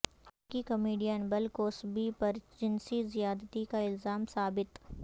امریکی comedian Bill Cosby پر جنسی زیادتی کا الزام ثابت